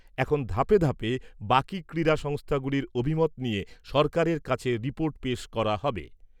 এখন ধাপে ধাপে বাকী ক্রীড়া সংস্থাগুলির অভিমত নিয়ে সরকারের কাছে রিপোর্ট পেশ করা হবে।